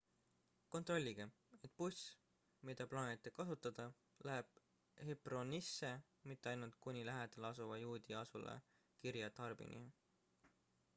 kontrollige et buss mida plaanite kasutada läheb hebronisse mitte ainult kuni lähedal asuva juudi asula kiryat arbani